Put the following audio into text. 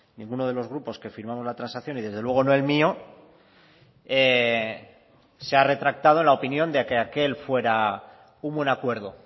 ninguno de los grupos que firmamos la transacción y desde luego no el mío se ha retractado en la opinión de que aquel fuera un buen acuerdo o